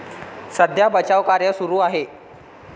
सध्या बचावकार्य सुरू आहे.